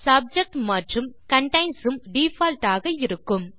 subject மற்றும் contains உம் default ஆக இருக்கும்